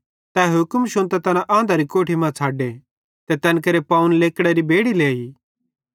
तै हुक्म शुन्तां तैना आँधरी कोठी मां छ़डे ते तैन केरे पावन लेकड़री बेड़ि लेइ